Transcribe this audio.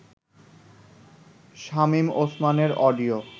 শামীম ওসমানের অডিও